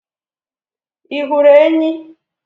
Ị hụrụ enyí?